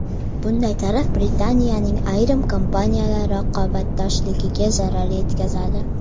Bunday tarif Britaniyaning ayrim kompaniyalari raqobatbardoshligiga zarar yetkazadi.